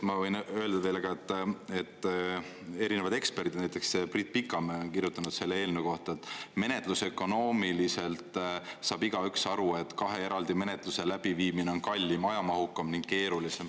Ma võin öelda teile ka, et erinevad eksperdid, näiteks Priit Pikamäe, on kirjutanud selle eelnõu kohta, et menetlusökonoomiliselt saab igaüks aru, et kahe eraldi menetluse läbiviimine on kallim, ajamahukam ja keerulisem.